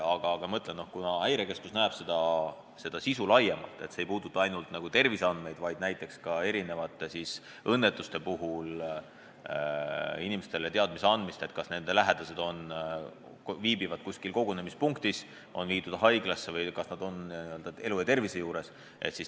Aga ma ütlen, et Häirekeskus näeb seda sisu laiemalt: seadus ei puuduta ainult terviseandmeid, vaid ka erinevate õnnetuste puhul inimestele info andmist, kas nende lähedased viibivad kuskil kogunemispunktis, on viidud haiglasse, kas nad on elu ja tervise juures.